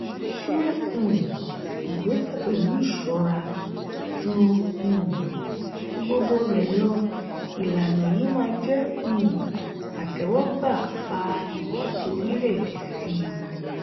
se um ìgbésẹ pẹlu ìṣora; ju um gbogbo rẹ lọ ìlànà yìí má jé um àtéwógbà fà iwọde orílè èdè sì.